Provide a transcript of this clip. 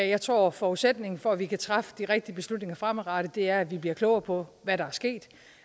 jeg tror at forudsætningen for at vi kan træffe de rigtige beslutninger fremadrettet er at vi bliver klogere på hvad der